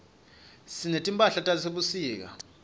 sinetimphahlatase sebusika